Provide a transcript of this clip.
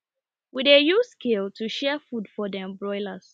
we dey use scale to share food for dem broilers